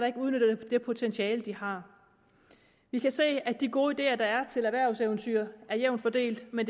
ikke udnytter det potentiale de har vi kan se at de gode ideer der er til erhvervseventyr er jævnt fordelt men